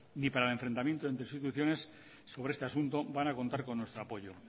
ni para el enfrentamiento entre instituciones sobre este asunto van a contar con nuestro apoyo